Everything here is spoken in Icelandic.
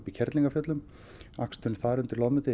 í Kerlingarfjöllum aksturinn þar undir